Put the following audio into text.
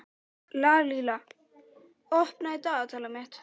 Lalíla, opnaðu dagatalið mitt.